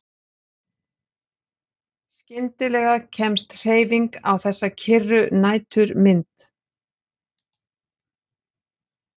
Skyndilega kemst hreyfing á þessa kyrru næturmynd.